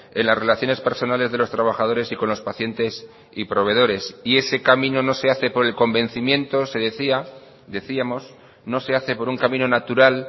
en las relaciones personales de los trabajadores y con los pacientes y proveedores y ese camino no se hace por el convencimiento se decía decíamos no se hace por un camino natural